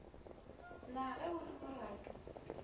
na ge o le moradu